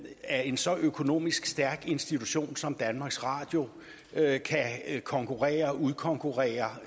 at en så økonomisk stærk institution som danmarks radio kan konkurrere med og udkonkurrere